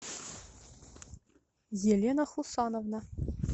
елена хусановна